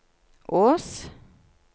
Ås